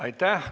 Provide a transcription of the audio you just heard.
Aitäh!